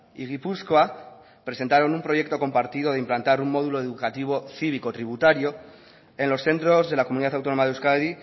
y gipuzkoa presentaron un proyecto compartido de implantar un módulo educativo cívico tributario en los centros de la comunidad autónoma de euskadi